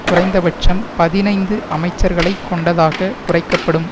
குறைந்தபட்சம் பதினைந்து அமைச்சர்களை கொண்டதாக குறைக்க படும்